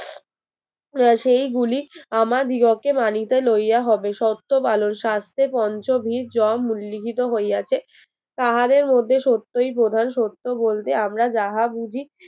সেইগুলি আমা দিগকে মানিতে লইয়া হবে সত্য ভাল স্বাস্থ্যের পঞ্চভীর জম উল্লেখিত হইয়াছে তাহাদের মধ্যে সত্যই প্রধান সত্য বলতে আমরা যাহা বুঝি